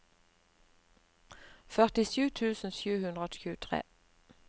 førtisju tusen sju hundre og tjuetre